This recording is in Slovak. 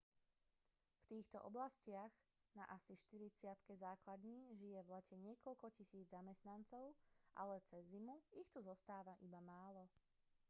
v týchto oblastiach na asi štyridsiatke základní žije v lete niekoľko tisíc zamestnancov ale cez zimu ich tu zostáva iba málo